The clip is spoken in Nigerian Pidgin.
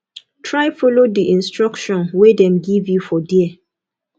try follow di instruction wey dem give you for there